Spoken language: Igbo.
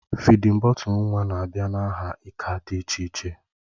Fịdin bọtul nwa na-abịa n'aha ika dị iche iche